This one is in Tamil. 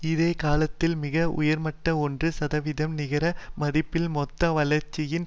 இதே காலத்தில் மிக உயர்மட்ட ஒன்று சதவீதம் நிகர மதிப்பில் மொத்த வளர்ச்சியின்